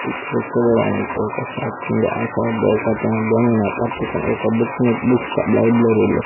ఇక్కడ చూడటానికి ఓక షాప్ ఉంది. ఆ షాప్ లో ఒకతను దేనినో పట్టుకొని ఒక బుక్ నీ బుక్ షాప్ లైబ్రరీ లో --